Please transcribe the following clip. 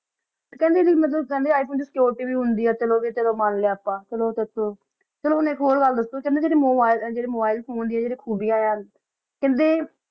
ਕੇਹ੍ਨ੍ਡੇ ਵੀ ਮਤਲਬ ਕੇਹ੍ਨ੍ਡੇ ਆਇਫੋਨੇ ਚ ਸੇਛੁਰਿਟੀ ਵੀ ਚੰਗੀ ਹੁੰਦੀ ਆ ਚਲੋ ਭੀ ਚਲੋ ਮਾਨ ਲਾਯਾ ਆਪਾਂ ਚਲੋ ਊ ਟੀ ਚਲੋ ਹੁਣ ਏਇਕ ਹੋਰ ਗਲ ਦਸੋ ਕੇਹ੍ਨ੍ਡੇ ਭੀ ਜੇਰੇ ਮੋਬਿਲੇ ਫੋਨੇ ਡਿਯਨ ਜੇਰਿਯਾਂ ਖੂਬਿਯਾੰ ਆਯ ਆ ਕੇਹ੍ਨ੍ਡੇ